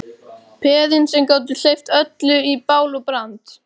Peðin sem gátu hleypt öllu í bál og brand.